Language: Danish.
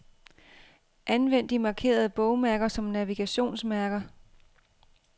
Anvend de markerede bogmærker som navigationsmærker.